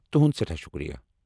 تُہُنٛد سٮ۪ٹھاہ شُکریہ!